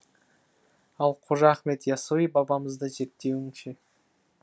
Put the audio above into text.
ал қожа ахмет яссауи бабамызды зерттеуің ше